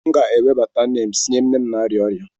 M ga-ewebata neems nye nne m na-arịa ọrịa.